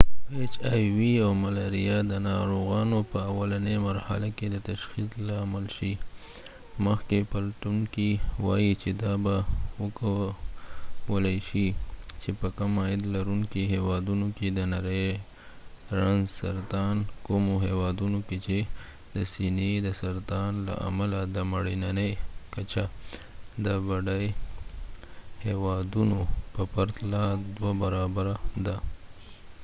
مخکښ پلټونکې وایي چې دا به وکولای شي چې په کم عاید لرونکې هیوادونو کې د نری رنځ سرطان ، hivاو ملارېا د ناروغانو په اولنی مرحله کې د تشخیص لامل شي په کومو هیوادونو کې چې د سینې د سرطان له امله د مړینې کچه د بډای هیوادونو په پرتله دوه برابره ده